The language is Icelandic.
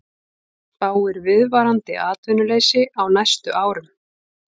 Spáir viðvarandi atvinnuleysi á næstu árum